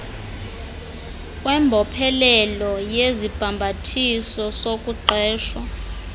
kwembophelelo yesibhambathiso sokuqeshwa